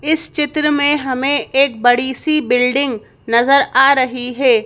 इस चित्र में हमें एक बड़ी सी बिल्डिंग नजर आ रही है।